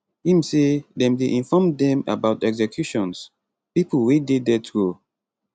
im say dem dey inform dem about executions pipo wey dey death row